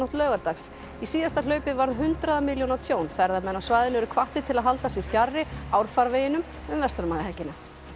laugardags í síðasta hlaupi varð hundraða milljóna tjón ferðamenn á svæðinu eru hvattir til að halda sig fjarri árfarveginum um verslunarmannahelgina